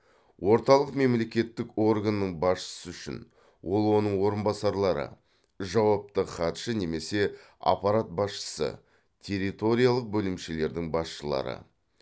орталық мемлекеттік органның басшысы үшін ол оның орынбасарлары жауапты хатшы немесе аппарат басшысы территориялық бөлімшелердің басшылары